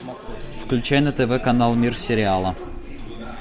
включай на тв канал мир сериала